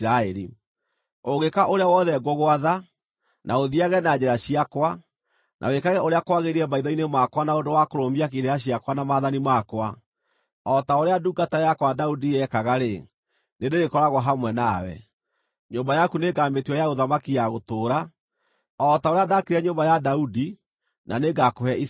Ũngĩka ũrĩa wothe ngũgwatha, na ũthiiage na njĩra ciakwa, na wĩkage ũrĩa kwagĩrĩire maitho-inĩ makwa na ũndũ wa kũrũmia irĩra ciakwa na maathani makwa, o ta ũrĩa ndungata yakwa Daudi yekaga-rĩ, nĩndĩrĩkoragwo hamwe nawe. Nyũmba yaku nĩngamĩtua ya ũthamaki ya gũtũũra, o ta ũrĩa ndaakire nyũmba ya Daudi na nĩngakũhe Isiraeli.